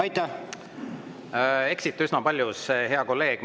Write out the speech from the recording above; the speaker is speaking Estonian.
Te eksite üsna paljus, hea kolleeg.